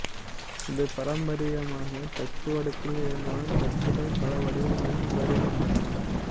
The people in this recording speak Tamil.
இது பாரம்பரியமாக தட்டுவடிவத்தில் இருந்தாலும் தட்டுக்கள் பல வடிவங்களிலும் வருகின்றன